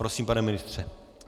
Prosím, pane ministře.